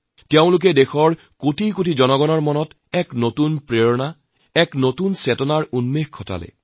তেওঁলোকে দেশৰ কোটি কোটি লোকৰ বাবে এক নতুন প্ৰেৰণা এক নতুন চেতনা জাগ্ৰত কৰিলে